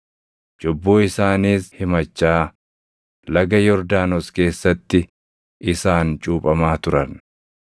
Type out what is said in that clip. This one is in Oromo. Cubbuu isaaniis himachaa, Laga Yordaanos keessatti isaan cuuphamaa turan.